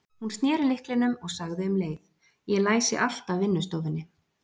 Hún sneri lyklinum og sagði um leið: Ég læsi alltaf vinnustofunni.